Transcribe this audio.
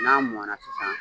N'a mɔna sisan